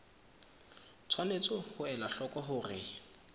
tshwanetse ho ela hloko hore